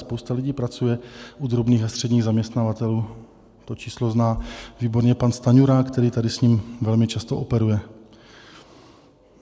Spousta lidí pracuje u drobných a středních zaměstnavatelů, to číslo zná výborně pan Stanjura, který tady s ním velmi často operuje.